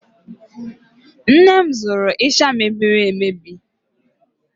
Nne m zụrụ ịsha mebirir emebi